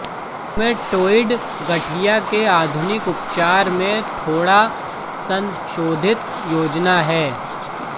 rheumatoid गठिया के आधुनिक उपचार में थोड़ा संशोधित योजना है